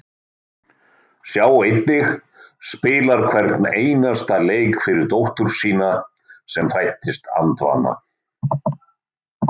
Sjá einnig: Spilar hvern einasta leik fyrir dóttur sína sem fæddist andvana